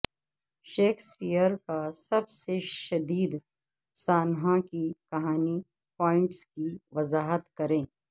Shakespeare کا سب سے شدید سانحہ کی کہانی پوائنٹس کی وضاحت کریں